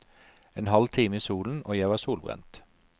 En halv time i solen og jeg var solbrent.